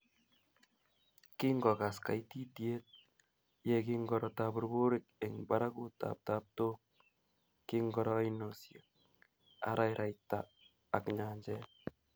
Kingogas kaititiet ye kingoro taburburik eng barakutap taptok, kingoro oinosiek, araraita ak nyanjet